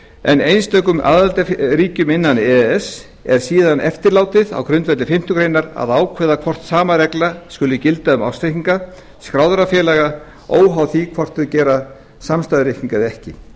en einstökum aðildarríkjum innan e e s er síðan eftirlátið á grundvelli fimmtu grein að ákveða hvort sama regla skuli gilda um ársreikninga skráðra félaga óháð því hvort þau gera samstæðureikninga eða ekki